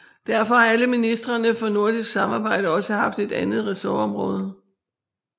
Derfor har alle ministrene for nordisk samarbejde også haft et andet ressortområde